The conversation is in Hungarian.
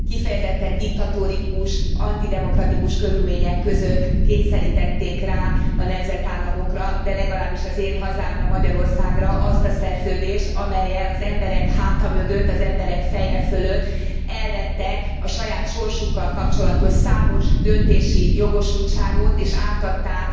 Kifejezetten diktatórikus, antidemokratikus körülmények között kényszerítették rá a nemzetállamokra, de legalábbis az én hazámra, Magyarországra azt a szerződést, amellyel az emberek háta mögött, az emberek feje fölött elvettek a saját sorsukkal kapcsolatos számos döntési jogosultságot és átadták